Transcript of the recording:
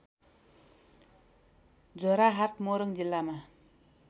झोराहाट मोरङ जिल्लामा